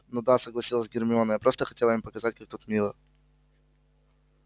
ну да согласилась гермиона я просто хотела им показать как тут мило